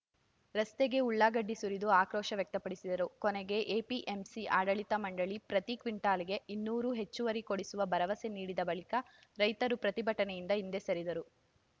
ರಸ್ತೆಗೆ ಉಳ್ಳಾಗಡ್ಡಿ ಸುರಿದು ಆಕ್ರೋಶ ವ್ಯಕ್ತಪಡಿಸಿದರು ಕೊನೆಗೆ ಎಪಿಎಂಸಿ ಆಡಳಿತ ಮಂಡಳಿ ಪ್ರತಿ ಕ್ವಿಂಟಲ್‌ಗೆ ಇನ್ನೂರು ಹೆಚ್ಚುವರಿ ಕೊಡಿಸುವ ಭರವಸೆ ನೀಡಿದ ಬಳಿಕ ರೈತರು ಪ್ರತಿಭಟನೆಯಿಂದ ಹಿಂದೆ ಸರಿದರು